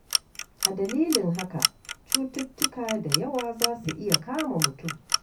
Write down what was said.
A dalilin haka, cututtuka da yawa za su iya kama mutum.